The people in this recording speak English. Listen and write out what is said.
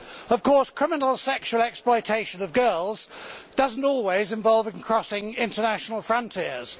Of course, criminal sexual exploitation of girls does not always involve crossing international frontiers.